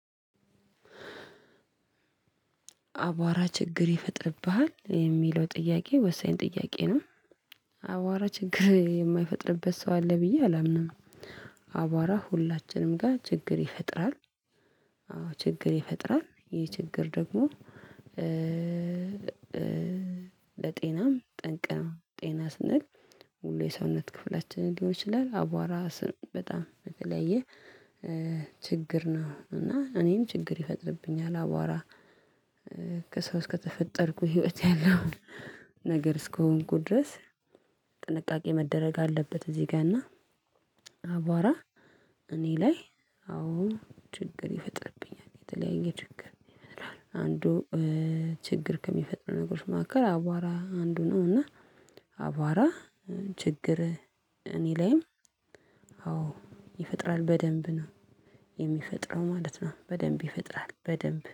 አቧራ ችግር ይፈጥርብሃል የሚለው ጥያቄ ወሳኝ ጥያቄ ነው። አቧራ ችግር የማይፈጥርበት ሰው አለ ብዬ አላምንም። አቧራ ሁላችንም ጋር ችግር ይፈጥራል። አዎ ችግር ይፈጥራል ይሄ ችግር ደግሞ ለጤናም ጠንቅ ነው። ጤና ስንል መሉ የሰውነት ክፍላችን ሊሆን ይችላል። አቧራ ስም በጣም በተለያየ ችግር ነው። እና እኔም ችግር ይፈጥርብኛል። አቧራ ከሰው እስከተፈጠርኩ ህይወት ያለው ነገር እስከሆንኩ ድረስ ጥንቃቄ መደረግ አለበት። እዚህ ጋር እና። አቧራ እኔ ላይ አዎ ችግር ይፈጥርብኛል። የተለያየ ችግር ይፈጥራል። አንዱ ችግር ከሚፈጥሩ ነገሮች መካከል አቧራ አንዱ ነው። እና። አቧራ ችግር እኔ ላይም አዎ ይፈጥራል። በደንብ ነው የሚፈጥረው ማለት ነው። በደንብ ይፈጥራል በደንብ